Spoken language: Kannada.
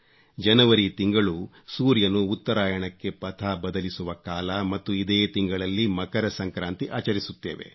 ಜನವರಿ ತಿಂಗಳು ಸೂರ್ಯನು ಉತ್ತರಾಯಣಕ್ಕೆ ಪಥ ಬದಲಿಸುವ ಕಾಲ ಮತ್ತು ಇದೇ ತಿಂಗಳಲ್ಲಿ ಮಕರ ಸಂಕ್ರಾಂತಿ ಆಚರಿಸುತ್ತೇವೆ